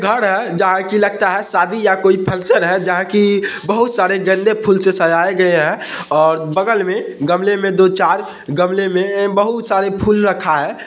घड है जहाँ की लगता है शादी या कोई फंक्शन है जहाँ की बहुत सारे गंदे फूल से सजाए गए है और बगल में गमले में दो चार गमले में बहुत सारे फूल रखा है ।